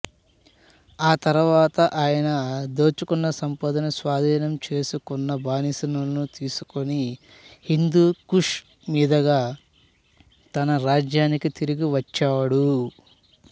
తరువాత ఆయన దోచుకున్న సంపదను స్వాధీనం చేసుకున్న బానిసలను తీసుకుని హిందూ కుష్ మీదుగా తన రాజధానికి తిరిగి వచ్చాడు